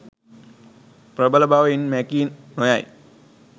ප්‍රබල බව ඉන් මැකී නො යයි